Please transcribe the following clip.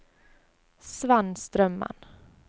Svenn Strømmen